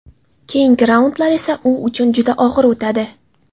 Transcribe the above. Keyingi raundlar esa u uchun juda og‘ir o‘tadi.